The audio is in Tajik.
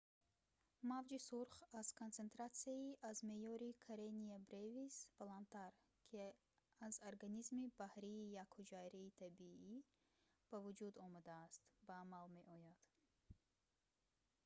мавҷи сурх аз консентратсияи аз меъёри karenia brevis баландтар ки аз организми баҳрии якҳуҷайраи табиӣ ба вуҷуд омадааст ба амал меояд